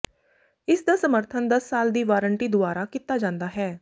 ਇਸਦਾ ਸਮਰਥਨ ਦਸ ਸਾਲ ਦੀ ਵਾਰੰਟੀ ਦੁਆਰਾ ਕੀਤਾ ਜਾਂਦਾ ਹੈ